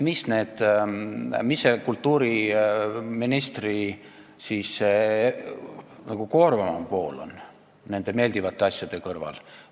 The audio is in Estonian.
Mis on kultuuriministri töö koormavam pool nende meeldivamate asjade kõrval?